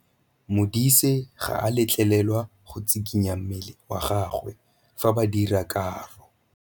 Modise ga a letlelelwa go tshikinya mmele wa gagwe fa ba dira karô.